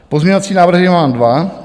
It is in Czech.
Pozměňovací návrhy mám dva.